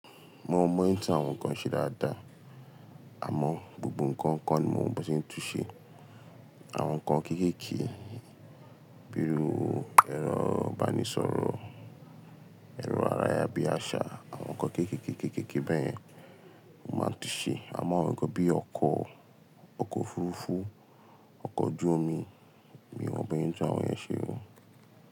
Mo mọ bi wọn ṣe ń tún àwọn nǹkan ṣe dáadáa, àmọ́ gbogbo nǹkan kọ́ ni mò mọ bí wọ́n ṣe ń tún ṣe. Àwọn nǹkan kékéké bí i iru ẹrọ̀ ìbánisọ̀rọ̀, ẹ̀rọ̀ ara yà bí i àṣà, àwọn nǹkan kékéké, kékéké bẹ́ẹ̀ yẹn, mo máa ń tún ṣe. Àmọ́ àwọn nǹkan bí i ọkọ̀, ọkọ̀ òfurufú, ọkọ̀ ojú omi, mi ò mọ bí wọ́n ń tún àwọn iyẹ́n ṣe o.